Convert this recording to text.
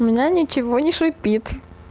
у меня ничего не шипит